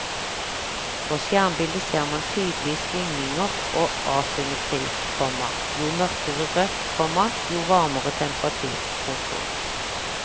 På skjermbilde ser man tydelige svingninger og asymmetri, komma jo mørkere rødt, komma jo varmere temperatur. punktum